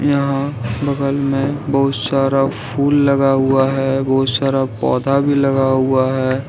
यहां बगल में बहुत सारा फुल लगा हुआ है बहुत सारा पौधा भी लगा हुआ है।